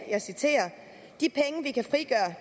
jeg citerer